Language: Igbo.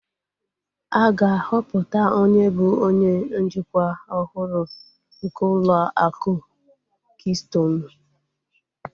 A ga-ahọpụta onye bụ onye njikwa ọhụrụ nke ụlọ akụ kistonu